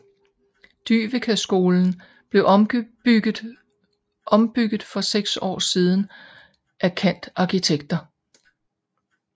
Dyveke skolen blev ombygget for 6 år siden at Kant arkitekter